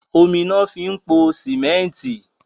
Omi lọ fi po símẹ́ntí.